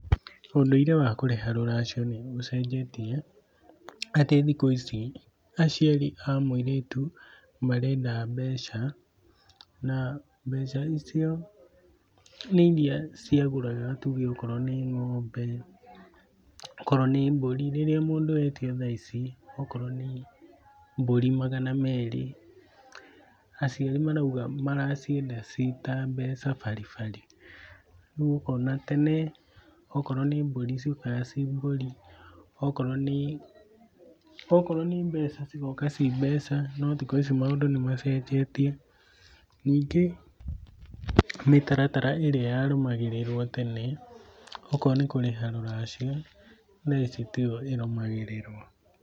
Ũndũire wa kũrĩha rũracio nĩũcenjetie, atĩ thikũ ici aciari a mũirĩtu marenda mbeca, na mbeca icio nĩ iria ciagũraga tuge okorwo nĩ ng'ombe, okorwo nĩ mbũri, rĩrĩa mũndũ etio thaa ici okorwo nĩ mbũri magana merĩ, aciari marauga maracienda ciĩ ta mbeca baribari. Rĩu ũkona tene okorwo nĩ mbũri ciokaga ciĩ mbũri, okorwo nĩ, okorwo nĩ mbeca cigoka ciĩ mbeca, no thikũ ici maũndũ nĩmacenjetie. Ningĩ, mĩtaratara ĩrĩa yarũmagĩrĩrwo tene okorwo nĩ kũrĩha rũracio, thaa ici tiyo ĩrũmagĩrĩrwo.